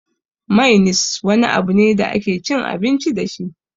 Mainis wani abu ne da ake cin abinci dashi